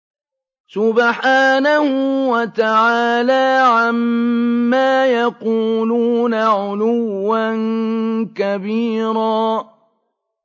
سُبْحَانَهُ وَتَعَالَىٰ عَمَّا يَقُولُونَ عُلُوًّا كَبِيرًا